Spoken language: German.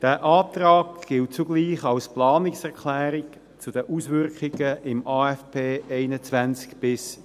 Dieser Antrag gilt zugleich als Planungserklärung zu den Auswirkungen im AFP 2021–2023.